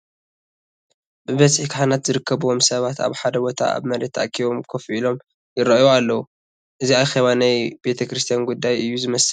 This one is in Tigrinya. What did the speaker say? ብብዝሒ ካህናት ዝርከብዎም ሰባት ኣብ ሓደ ቦታ ኣብ መሬት ተኣኪቦም ኮፍ ኢሎም ይርአዩ ኣለዉ፡፡ እዚ ኣኬባ ናይ ቤተ ክርስቲያን ጉዳይ እዩ ዝመስል፡፡